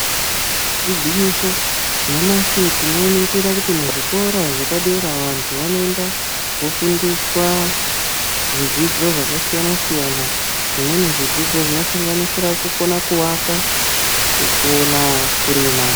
Igwinyiso nyamashi tinoningira kuti muzvikora zvepadera vantu vanoenda kofundiswa zvidzidzo zvakasiyana siyana zvimweni zvidzidzo zvinodanganisira kukona kuaka kukona kurima.